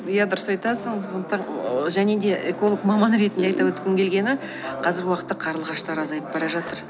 иә дұрыс айтасың сондықтан ы және де эколог маманы ретінде айта өткім келгені қазіргі уақытта қарлығаштар азайып бара жатыр